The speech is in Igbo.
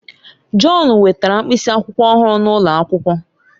John wetara mkpịsị akwụkwọ ọhụrụ n'ụlọ akwụkwọ.